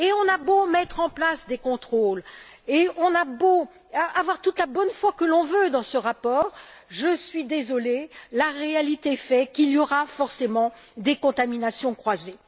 On a beau mettre en place des contrôles, et on a beau avoir toute la bonne foi que l'on veut dans ce rapport, je suis désolée, la réalité fait qu'il y aura forcément des contaminations croisées.